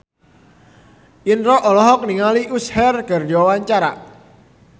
Indro olohok ningali Usher keur diwawancara